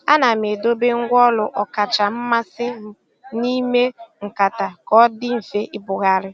Àna m èdòbé ngwá ọ́lù ọ́kàchà mmasị́ m n'ímè nkátà kà ọ dị́ mfe ìbùghàrị̀.